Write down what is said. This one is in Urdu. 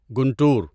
گنٹور